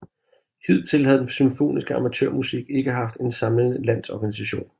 Hidtil havde den symfoniske amatørmusik ikke haft en samlende landsorganisation